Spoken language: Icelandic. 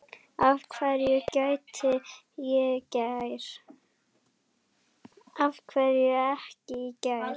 Af hverju ekki í gær?